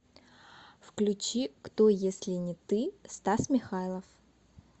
включи кто если не ты стас михайлов